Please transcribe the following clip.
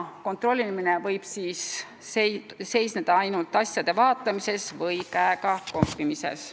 Kontrollimine võib seisneda ainult asjade vaatamises või käega kompamises.